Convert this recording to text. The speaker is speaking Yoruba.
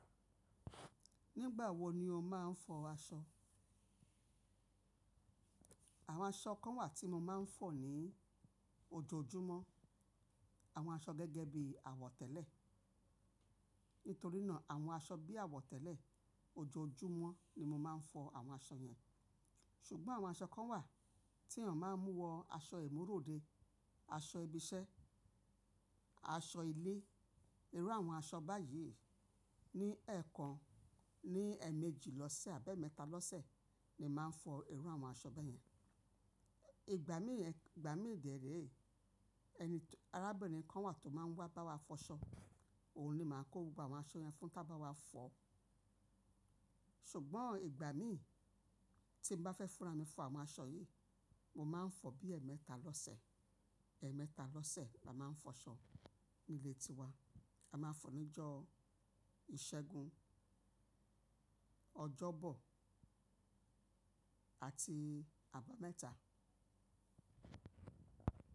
Nígbà wo ni o máa ń fọ aṣọ? Àwọn aṣọ kan wà tí mo máa ń fọ ní ojoojúmọ́. Àwọn aṣọ gẹ́gẹ́ bí àwọ̀tẹ́lẹ̀. Nítorí náà àwọn aṣọ bí àwọ̀tẹ́lẹ̀ ojoojúmọ́ ni mo máa ń fọ àwọn aṣọ yẹn. Ṣùgbọ́n àwọn aṣọ kan wà tí a máa ń mú wọ, aṣọ ìmúròde, aṣọ ibi iṣẹ́, aṣọ ilé. Irú àwọn aṣọ báyìí ní ẹ̀ẹ̀kan, ní ẹ̀ẹ̀mejì lọ́sẹ̀ àbẹ́ mẹ́ta lọ́sẹ̀ ni màá ń fọ irú àwọn aṣọ báyẹn. Ìgbà mí yẹn, ìgbà mí dèré, ẹni-- arábìnrin kan wà tó máa ń wá bá wa fọ aṣọ, òun ni màá kó gbogbo àwọn aṣọ yẹn fún tá bá wá fọ. Ṣùgbọ́n ìgbà mí tí n bá fẹ́ fúnra mi fọ àwọn aṣọ yìí, mo máa ń fọ bí ẹẹ́mẹta lọ́sẹ̀. Ẹẹ́mẹta lọ́sẹ̀ la máa ń fọ aṣọ nílé tiwa. A máa ń fọ níjọ́ ìṣẹ́gun, ọjọ́bọ̀ àti àbámẹ́ta.